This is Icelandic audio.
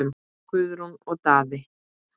Guðrún og Daði.